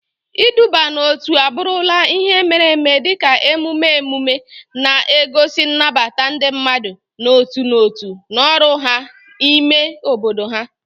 Iduba n'otu abụrụla ihe mere eme dị ka emume emume, na-egosi nnabata ndị mmadụ n'otu n'otu na ọrụ ha n'ime obodo ha.